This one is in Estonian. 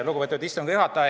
Lugupeetud istungi juhataja!